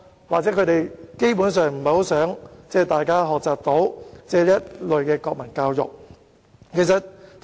或許他們基本上是不想大家接受這類國民教育。